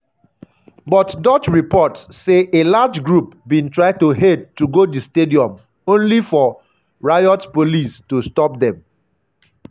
but dutch reports say a large group bin try to head to go di stadium only for riot police to stopped dem.